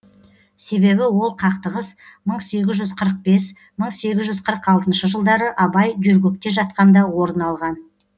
себебі ол қақтығыс мың сегіз жүз қырық бес мың сегіз жүз қырық алтыншы жылдары абай жөргекте жатқанда орын алған